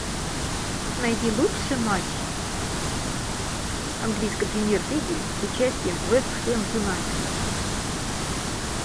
найди лучший матч английской премьер лиги с участием вест хэм юнайтед